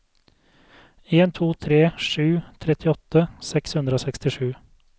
en to tre sju trettiåtte seks hundre og sekstisju